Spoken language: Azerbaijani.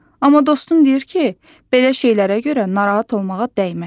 Amma dostun deyir ki, belə şeylərə görə narahat olmağa dəyməz.